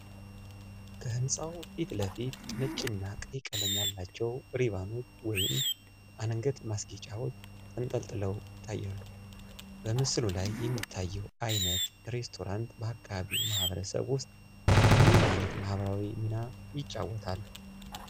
ከሕንፃው ፊት ለፊት ነጭ እና ቀይ ቀለም ያላቸው ሪባኖች (አንገት ማስጌጫዎች) ተንጠልጥለው ይታያሉ። በምስሉ ላይ የሚታየው ዓይነት ሬስቶራንት በአካባቢው ማህበረሰብ ውስጥ ምን ዓይነት ማህበራዊ ሚና ይጫወታል?